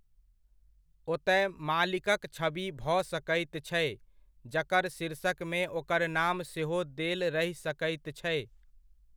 ओतय मालिकक छवि भऽ सकैत छै, जकर शीर्षकमे ओकर नाम सेहो देल रहि सकैत छै।